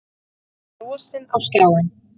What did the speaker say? Við horfðum frosin á skjáinn.